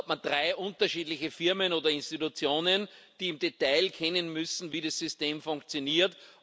Dann hat man drei unterschiedliche Firmen oder Institutionen, die im Detail kennen müssen, wie das System funktioniert.